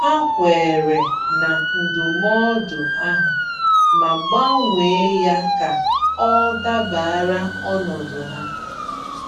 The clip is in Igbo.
Ha kweere na ndụmọdụ ahụ, ma gbanwee ya ka ọ dabara ọnọdụ ha.